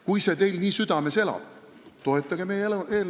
Kui see teil nii südames elab, siis toetage meie eelnõu!